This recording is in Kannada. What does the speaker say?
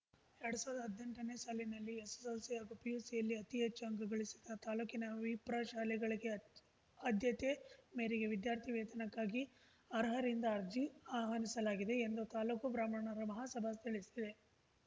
ಎರಡ್ ಸಾವ್ರ್ದಾ ಹದ್ನೆಂಟನೇ ಸಾಲಿನಲ್ಲಿ ಎಸ್‌ಎಸ್‌ಎಲ್‌ಸಿ ಹಾಗೂ ಪಿಯುಸಿಯಲ್ಲಿ ಅತಿ ಹೆಚ್ಚು ಅಂಕ ಗಳಿಸಿದ ತಾಲೂಕಿನ ವಿಪ್ರ ಶಾಲೆಗಳಿಗೆ ಆದ್ಯತೆ ಮೇರೆಗೆ ವಿದ್ಯಾರ್ಥಿ ವೇತನಕ್ಕಾಗಿ ಅರ್ಹರಿಂದ ಅರ್ಜಿ ಆಹ್ವಾನಿಸಲಾಗಿದೆ ಎಂದು ತಾಲೂಕು ಬ್ರಾಹ್ಮಣರ ಮಹಾಸಭಾ ತಿಳಿಸಿದೆ